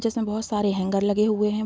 जिसमें बहुत सारे हैंगर लगे हुए हैं।